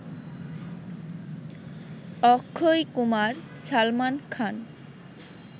Akshay Kumar Salman Khan